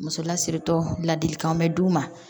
Muso lasiritɔ ladilikan bɛ d'u ma